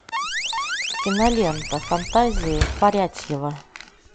кинолента фантазии фарятьева